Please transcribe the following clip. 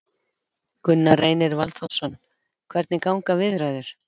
Gunnar Reynir Valþórsson: Hvernig ganga viðræður?